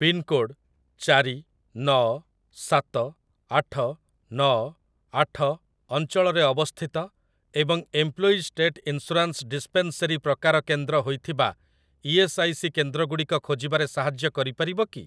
Pincode ଚାରି ନଅ ସାତ ଆଠ ନଅ ଆଠ ଅଞ୍ଚଳରେ ଅବସ୍ଥିତ ଏବଂ ଏମ୍ପ୍ଲୋଇଜ୍ ଷ୍ଟେଟ୍ ଇନ୍ସୁରାନ୍ସ ଡିସ୍ପେନ୍ସେରୀ ପ୍ରକାର କେନ୍ଦ୍ର ହୋଇଥିବା ଇ.ଏସ୍. ଆଇ. ସି. କେନ୍ଦ୍ରଗୁଡ଼ିକ ଖୋଜିବାରେ ସାହାଯ୍ୟ କରିପାରିବ କି?